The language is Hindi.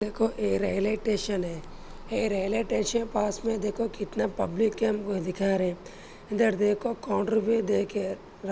देखो ये रेल स्टेशन है ये रेल स्टेशन पास मे देखो कितने पब्लिक हमें दिखा रहे इधर देखो काउंटर भी देखे --